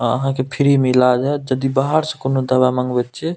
अहा के फ्री में इलाज हात जदी बाहर से कोनो दवा मागवे छिये।